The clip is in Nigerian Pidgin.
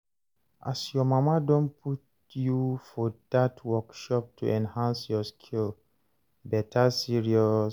as your mama don put you for dat workshop to enhance your skill, better serious